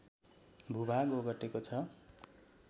भूभाग ओगटेको छ